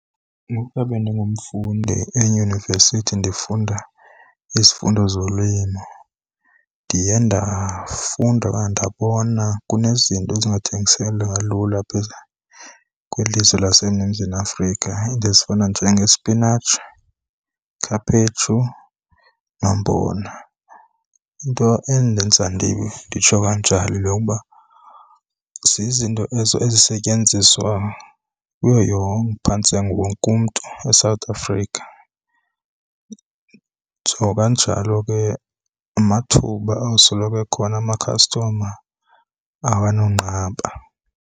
Ngokuya bendingumfundi eyunivesithi ndifunda izifundo zolimo ndiye ndafunda okanye ndabona kunezinto ezingathengiseka lula kwilizwe Afrika, iinto ezifana njengesipinatshi, ikhaphetshu nombona. Into endenza nditsho kanjalo yile yokuba zizinto ezo ezisetyenziswa kuyo yonke, phantse wonke umntu eSouth Africa. Nditsho kanjalo ke amathuba ayosoloko ekhona, amakhastoma awanonqaba.